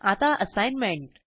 आता असाईनमेंट